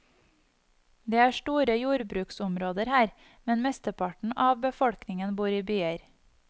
Det er store jordbruksområder her, men mesteparten a befolkningen bor i byer.